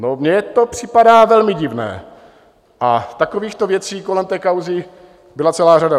No, mně to připadá velmi divné, a takovýchto věcí kolem této kauzy byla celá řada.